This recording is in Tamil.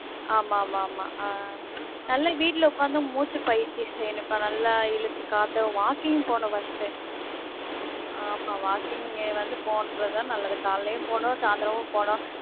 ஆமா ஆமா ஆமா ஆமா ஆஹ் நல்ல வீட்ல உக்காந்து மூச்சு பயிற்சி செய்யணும் அக்கா நல்ல இழுத்து காத்து, walking போனும் first டு. ஆமா walking வந்து போனும்னுறது தான் நல்லது காலையிலும் போனும், சயிந்தரமும் போனும்.